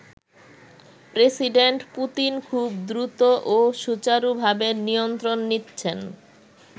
President Putin খুব দ্রুত ও সুচারুভাবে নিয়ন্ত্রণ নিচ্ছেন।